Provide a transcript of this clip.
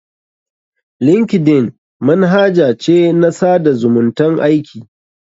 Linkeldn manhaja ce na tsada zumuntan aiki.